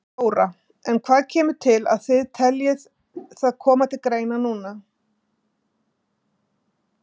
Þóra: En hvað kemur til að þið telji það koma til greina núna?